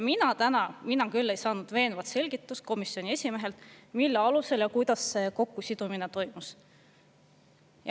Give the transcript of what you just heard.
Mina täna küll ei saanud komisjoni esimehelt veenvat selgitust, mille alusel ja kuidas see kokkusidumine toimus.